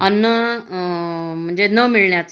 अन्न म्हणजे न मिळण्याच